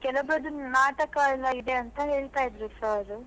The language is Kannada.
ಕೆಲವರದ್ದು ನಾಟಕ ಎಲ್ಲಾ ಇದೆ ಅಂತ ಹೇಳ್ತಾ ಇದ್ರು sir .